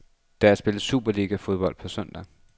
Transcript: Der spilles superligafodbold på søndag.